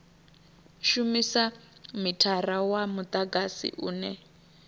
shumisa mithara wa mudagasi une